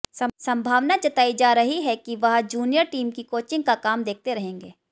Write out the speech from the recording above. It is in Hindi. संभावना जताई जा रही है कि वह जूनियर टीम की कोचिंग का काम देखते रहेंगे